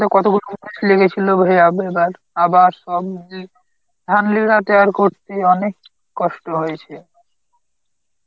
লেগেছিল আবার সব টের করতি অনেক কষ্ট হয়েছে.